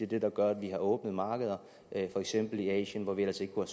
det der gør at vi har åbnet markeder i for eksempel asien hvor vi ellers ikke kunne